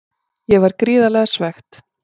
Ég var gríðarlega svekkt.